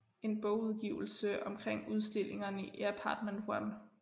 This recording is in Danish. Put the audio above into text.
En bogudgivelse omkring udstillingerne i Apartment One